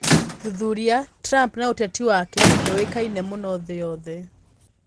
Thuthuria: Trump na ũteti wake ndũĩkaine mũno thĩ yothe